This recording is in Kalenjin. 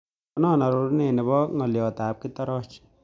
Konon arorunet nebo ng'oliotab kitoroch